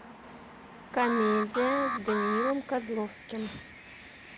комедия с даниилом козловским